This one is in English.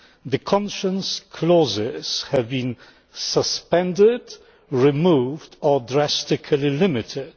The conscience clauses have been suspended, removed or drastically limited.